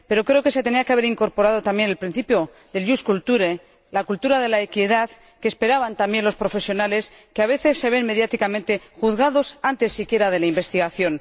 Pero creo que se tenía que haber incorporado también el principio de la ―la cultura de la equidad―, que esperaban también los profesionales, que a veces se ven mediáticamente juzgados antes siquiera de la investigación.